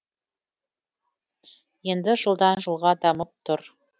енді жылдан жылға дамып тұр